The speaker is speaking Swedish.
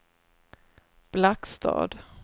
Blackstad